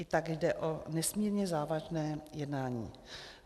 I tak jde o nesmírně závažné jednání.